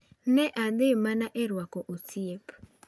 "Ne adhi mana e rwako osiep."